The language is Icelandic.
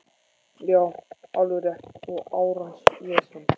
Já, alveg rétt og árans vesen